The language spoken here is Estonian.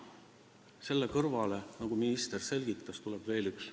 Selle kõrvale, nagu minister selgitas, tuleb veel üks.